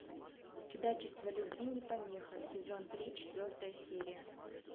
чудачество любви не помеха сезон три четвертая серия